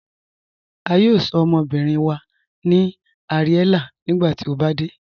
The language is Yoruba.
A yóò sọ̀ ọmọbìrín wa ní Ariella nígbàtí o bá dẹ̀.